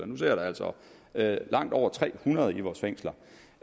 nu sidder der altså langt over tre hundrede i vores fængsler